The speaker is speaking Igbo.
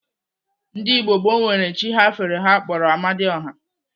Ndigbo gboo nwere chi ha fere ha kpọrọ Amadioha.